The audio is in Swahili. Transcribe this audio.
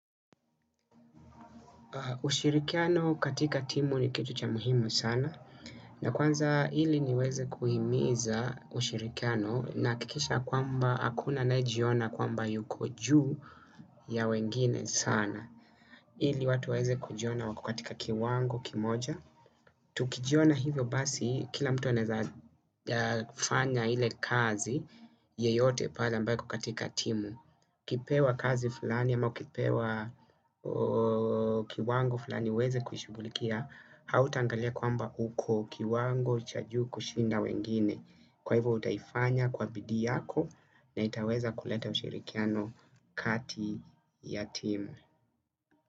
Ushirikiano katika timu ni kitu cha muhimu sana. Na kwanza ili niweze kuhimiza ushirikiano nahakikisha kwamba hakuna anayejiona kwamba yuko juu ya wengine sana ili watu waeze kujiona wako katika kiwango kimoja. Tukijiona hivyo basi kila mtu anaeza fanya ile kazi yeyote pale ambayo iko katika timu ukipewa kazi fulani ama ukipewa kiwango fulani uweze kuishughulikia hautaangalia kwamba uko kiwango cha juu kushinda wengine kwa hivyo utaifanya kwa bidii yako na itaweza kuleta ushirikiano kati ya timu.